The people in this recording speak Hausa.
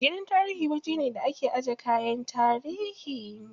Gidan tarihi wajene da ake ajiye kayan tarihi.